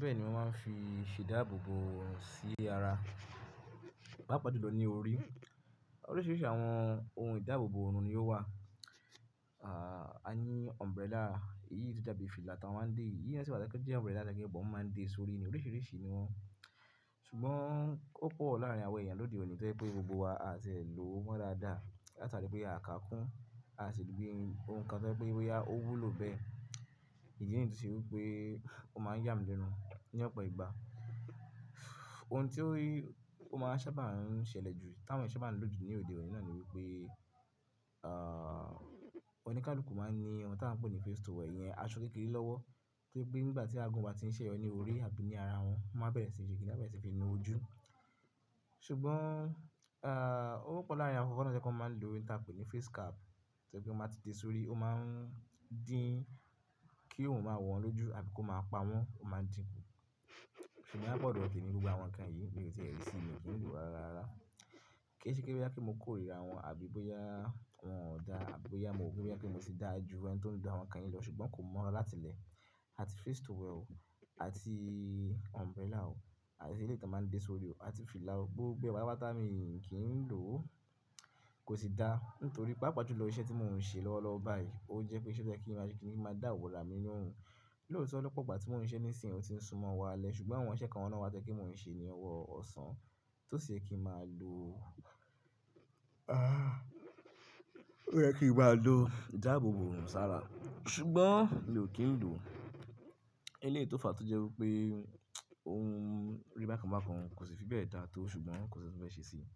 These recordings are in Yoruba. Bẹ́ẹ̀ ni wọ́n máa ń fi ṣe ìdáàbòbò sí ara, pàápàá jùlọ ní orí. Oríṣiríṣi àwọn ohun ìdáàbòbò ọ̀run ni ó wà. A ní umbrella, èyí tó dàbí fìlà tí a maa ń dé, yíi imi náà si wa to je ńpé umbrella, àtàké but wọ́n máa ń dé sórí, oríṣiríṣi ni wọ́n. Ṣùgbọ́n ó pọ̀ láàárín àwọn èèyàn lóde òní to jẹ́ pé gbogbo wa a tì ẹ̀ lò wmo dáadáa. Átàlé pé a kà kún, a sì gbé ohun kan to je pé bóyá ó wúlò bẹ́ẹ̀, ìdí nìyi tó ṣe wí pé ó máa ń yàmi lẹ́nu ní ọ̀pọ̀ ìgbà. Ohun tó rí, ó máa ń ṣábà ń ṣẹlẹ̀ jù, táwọn ṣe bá ń lòde òní náà ni wípé, ah, oníkálukú máa ń ní ohun tí a ń pè ní face towel yẹn, aṣọ kékeré lọ́wọ́, kí pé nígbà tí agbọ́n bá ti ń ṣẹ ọ ní orí àbí ní ara wọn, wọ́n máa bẹ̀rẹ̀ sí ṣe kì íní bá ṣe fi nu ojú. Ṣùgbọ́n, ah, ó pọ̀ láàárín àwọn ọkọ fọ́nà tí wọ́n máa ń lo ohun tí a ń pè ní face cap. To ẹ pe tsn ba ti de sórí, o maa n din ki oorun maa wọ wọn loju sbi ko maa pa wọn, o maa din ku. Ṣùgbọ́n bá pọ̀ dọ, temi gbogbo àwọn ǹkan yìí, mi o tí ẹ rí sí mi o kí n lò rárá rara. Kée ṣe pe, bóyá pé mo kórira wọ́n àbí bóyá wọ́n ò dá, àbí bóyá mo ro pé mo tí da ju ẹni tó ń da àwọn ǹkan yìí lọ, ṣùgbọ́n kò mọ́ ra láti lẹ̀. Àti face towel o àti umbrella o, àti eleyi tan maa n de sórí o àti fìlà o, gbogbo ẹ pátápátá mii ki n lo, ko si daa. Nítorí pàápàá jùlọ iṣẹ́ tí mò ń ṣe lọ́wọ́lọ́wọ́ báyìí, ó jẹ́ pé iṣẹ́ tí ẹ kí n máa ṣe kì íní máa dàwọ́ là mí n nú òrun. Lootọ, l: ọ̀pọ̀ ìgbà tí mò ń ṣiṣẹ ní ìsìn ò tí ń sún mọ́ ọwọ alẹ́, ṣùgbọ́n àwọn iṣẹ́ kan náà wá tẹ pe mò ń ṣe ní ọwọ́ ọ̀sán tó sì ṣe yẹ kí n máa lò o. Ah, ó yẹ kí n máa lò ìdáàbòbò oorun sára. Ṣùgbọ́n mi ò kí ń lò o. Eleyi tó fà á tó jẹ́ wípé ohun rí bákan bákan kò sì fi bẹ́ẹ̀ dá á tó, ṣùgbọ́n kò sì fẹ́ ṣe sí i.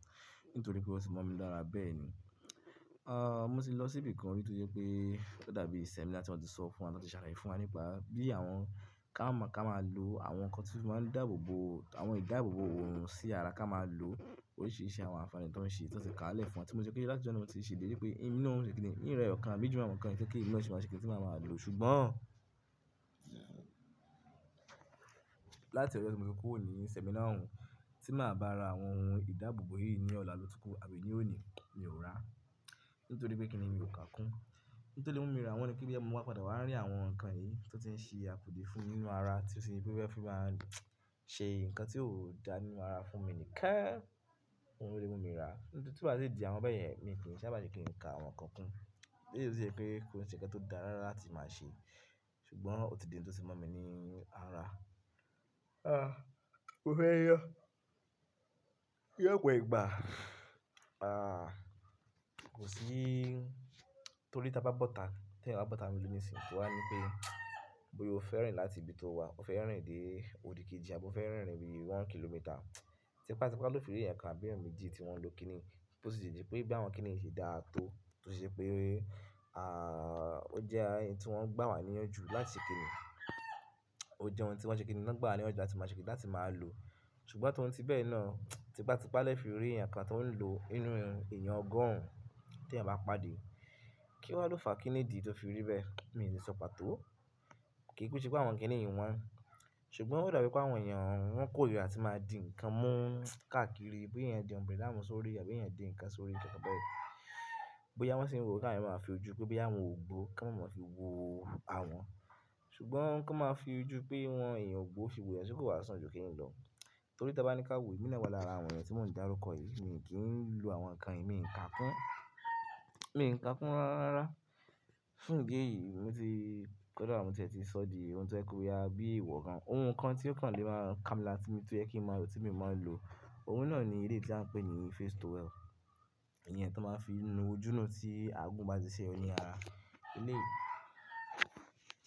Nítorí pe oti mọ mi lára bẹ́ẹ̀ ni ah, mo sì lọ síbi kan nítorí pé ó dàbí seminar tí wọ́n ti sọ fún wa, tí wọ́n ti ṣàlàyé fún wa nípa bí àwọn ká máa, ká máa lò àwọn ǹkan tí ó máa ń dáàbòbò, àwọn ìdáàbòbò òòrùn sí ara ká máa lò o. Oríṣiríṣi àwọn àǹfààní tan ṣe, tí wọ́n sì ka lẹ̀ fún wa tí mo ṣe kí láti ọjọ́ náà mo ti sì dé pé inú mi ò ṣe kì íní, inú ẹ ọ̀kan àbí jù àwọn ǹkan yìí tẹ́ kí inú mi sì má ṣe kì íní tí màá máa lò o. Ṣùgbọ́n láti ọ̀jọ tí mo ti kúrò ní seminar òun tí màá bá ra àwọn ohun ìdáàbòbò yìí ní ọ̀la lo tu ku àbí ní òní, mi ò rà á. Nítorí pé kí nìní mi ò kà kún. N to le mú mi rà wọ́n ní kí bí mo bá padà wá rí àwọn ǹkan yìí tó ti ń ṣe àpòdí fún mi nínú ara tí ó ṣe wípé ó fẹ́ máa ń lò, ṣe ǹkan tí ó dá nínú ara fún mi nìkẹ́, òun ló mú mi rà. Nítorí tí wàá ṣe di àwọn bẹ́ẹ̀ yẹn, mi kì íní sábàjú kí n ka àwọn ǹkan kún. Nítorí ó ṣe pé kò sí ǹkan tó dára láti máa ṣe. Ṣùgbọ́n ó ti di ohun tó tì mọ̀ mí nínú ara. Ah, mo fẹ́ yọ, lọ pọ ìgbà. Ah, kò sí, nítorí tí a bá bọ́ta, tí eyàn bá bọ́ta nínú le ni síń, ó wáa ńipe bóyá o fẹ́ rìn láti ibi tó wà, o fẹ́ rìn dé odikeji àbí o fẹ́ rìn rìn one kilometre. Tipa tipa loo fi ri eyan kan àbí eyan méjì ti wan lo kini yi, to si jẹ bi àwọn kini yo ṣe daa to, to si jẹ pe aah o jẹ ohun ti wọn gba wa niyan ju láti ṣe kinni Ojẹ ohun ti wọn ṣe kinni, lọ gba wa ni iyanju láti maa ṣe kinni, láti maa lo ṣùgbọ́n tọ́un ti bẹ́ẹ̀ náà, tipátipá lẹ o fi rí ẹ̀yàn kan to n lo nínú eyan ọgọrun ti eyàn bá pàdé. Kí wa á lò fàá kí nìdí tó fi rí bẹ́ẹ̀, mi ò lè sọ pàtó. Kì í ku ṣe pe ṣebí àwọn kí nì yìí wọn. Ṣùgbọ́n ó dàbí pé àwọn èèyàn wọn kórira tí máa di ǹkan mú káàkiri, bóyá èèyàn di umbrella mú sórí, àbí èèyàn di ǹkan sórí, nǹkan bá yẹn. Bóyá wọ́n sì ń wò káàkiri máa ń fi ojú pé bóyá àwọn ò gbó kán maa máa mọ̀ fi wo àwọn. Ṣùgbọ́n kan máa fi ojú pé wọn èèyàn ògbó fi wò yan ṣé kó wàá san ju kí n lọ. Nítorí tí ẹ bá ní ká wò, emi náà wa lára àwọn èèyàn tí mò ń dárúkọ yìí, mi kì í lò àwọn ǹkan yìí, mi ò ń kà kún. Mi ò ń kà kún rárá. Fún ìdí èyí, mo ti kódà mo ti ẹ ti so di ohun to ẹ pe boya bi iwọ gan ohun kan tí ó kàn lè máa ka mi lára ti tó yẹ kí n máa lò tí mii máa lòo. Ohun náà ni eleyi tí à ń pè ní face towel. Ìyẹn tó máa ń fi nu ojú náà tí agun bá ti ṣe ọ ní ara. Eleyi,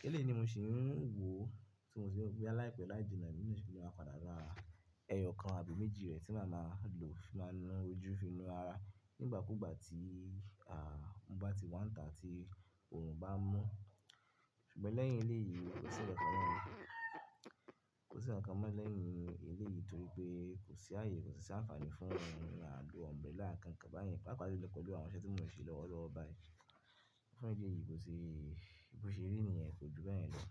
eleyi ni mo ṣin wo, bi ya láì pẹ láì jinna, emi náà ṣile padà ra ẹyọ kan tàbí méjì rẹ ti maa maa lo fi maa nu ojú fi nu ara ni ìgbà kuu gba ti mo ba ti wa n ta ti orun baa n mu ṣùgbọ́n lẹ́yìn eleyií kò sí ǹkan mọ́. Kò sí ǹkan mọ́ lẹ́yìn eleyìí torí pé kò sí ààyè, kò sì àǹfààní fún àl o umbrella kan kan bá yẹn, pàápàá jẹ́ pẹ̀lú àwọn iṣẹ́ tí mò ń ṣe lọ́wọ́lọ́wọ́ báyìí. Fún ìdí èyí kò ṣe, bó ṣe rí ni yẹ̀n kò ju bẹ́ẹ̀yẹn lọ.